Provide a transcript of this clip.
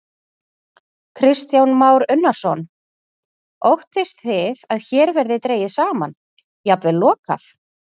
Kristján Már Unnarsson: Óttist þið að hér verði dregið saman, jafnvel lokað?